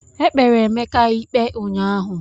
Ekpere Emeka ikpe unyaahụ.